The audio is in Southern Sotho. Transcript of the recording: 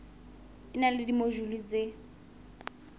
e na le dimojule tse